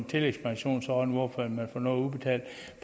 tillægspensionsordning hvor man får noget udbetalt